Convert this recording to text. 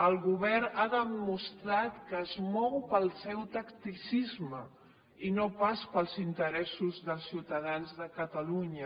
el govern ha demostrat que es mou pel seu tacticisme i no pas pels interessos dels ciutadans de catalunya